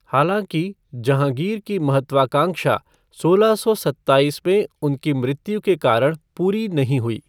हालाँकि, जहाँगीर की महत्वाकांक्षा सोलह सौ सत्ताईस में उनकी मृत्यु के कारण पूरी नहीं हुई।